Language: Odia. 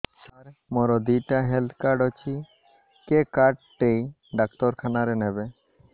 ସାର ମୋର ଦିଇଟା ହେଲ୍ଥ କାର୍ଡ ଅଛି କେ କାର୍ଡ ଟି ଡାକ୍ତରଖାନା ରେ ନେବେ